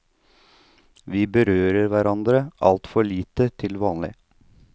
Vi berører hverandre altfor lite til vanlig.